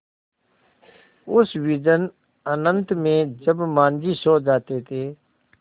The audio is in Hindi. उस विजन अनंत में जब माँझी सो जाते थे